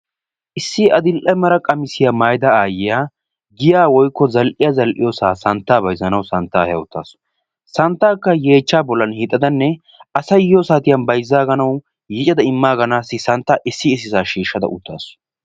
Issi adl'ee mala qamissiya maayidda aayiya giya woykko santta bayzziyoosa bayzzannawu santta eha uttaasu santtakka yeechcha hiixxada asay yiyyo saatiyan bayzzaaganaw yiiccada immaaganaw ississa shiishshada uttaasu.